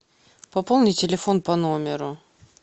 пополни телефон по номеру